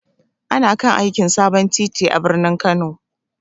Ana kan aikin sabon titi a birnin Kano.